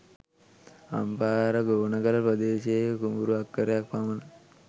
අම්පාර ගෝනගල ප්‍රදේශයේ කුඹුරු අක්කරයක් පමණ